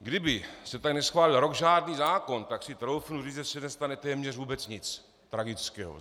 Kdyby se tady neschválil rok žádný zákon, tak si troufnu říct, že se nestane téměř vůbec nic tragického.